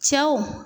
Cɛw